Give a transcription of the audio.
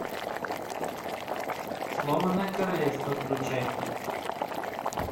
сломанное королевство включай